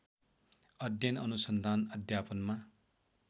अध्ययन अनुसन्धान अध्यापनमा